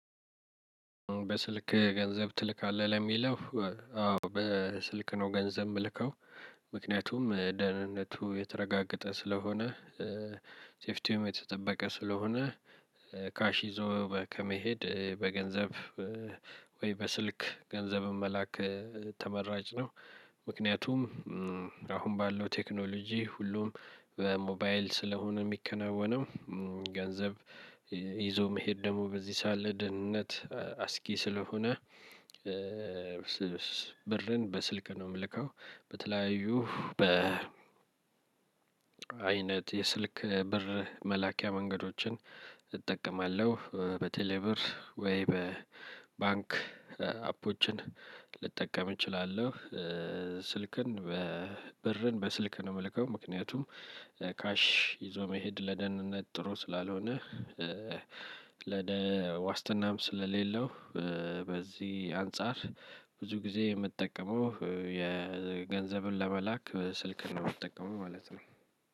በስልክህ ገንዘብ ትልካለህ ለሚለው? አዎ በስልክ ነው ገንዘብ የምልከው። ምክንያቱም ደህንነቱ የተረጋገጠ ስለሆነ። ሴፍቲውም የተጠበቀ ስለሆነ። ካሽ ይዞ ከመሄድ በገንዘብ ወይ በስልክ ገንዘብን መላክ። ተመራጭ ነው። ምክንያቱም አሁን ባለው ቴክኖሎጂ ሁሉም በሞባይል ስለሆነ የሚከናወነው። ገንዘብ ይዞ መሄድ ደግሞ በዚህ ሰዓት ላይ ለደህንነት አስጊ ስለሆነ። ብርን በስልክ ነው እምልከው። በተለያዩ በ አይነት የስልክ ብር መላኪያ መንገዶችን እጠቀማለሁ በቴሌ ብር ወይ በባንክ አፕወችን ልጠቀም እችላለሁ። ስልክን ብርን በስልክ ነው እምልከው። ምክንያቱም ካሽ ይዞ መሄድ ለደህንነት ጥሩ ስላልሆነ። ለደ ዋስትናም ስለሌለው። በዚህ አንፃር ብዙ ጊዜ እምጠቀመው የ ገንዘብን ለመላክ ስልክን ነው የምጠቀመው ማለት ነው።